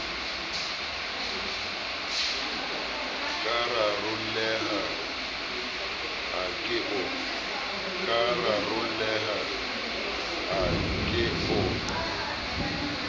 ka rarolleha a ke o